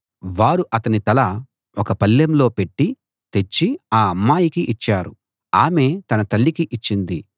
వారు అతని తల ఒక పళ్ళెంలో పెట్టి తెచ్చి ఆ అమ్మాయికి ఇచ్చారు ఆమె తన తల్లికి ఇచ్చింది